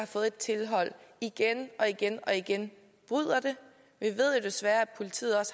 fået et tilhold igen og igen og igen bryder det vi ved jo desværre at politiet